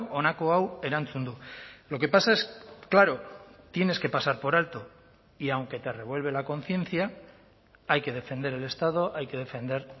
honako hau erantzun du lo que pasa es claro tienes que pasar por alto y aunque te revuelve la conciencia hay que defender el estado hay que defender